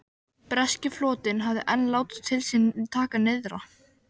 Breski flotinn hafði enn látið til sín taka nyrðra.